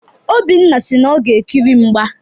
Obinna si na ọ ga-ekiri mgba.